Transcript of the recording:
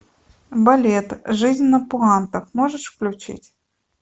балет жизнь на пуантах можешь включить